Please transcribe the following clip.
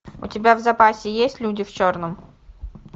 у тебя в запасе есть люди в черном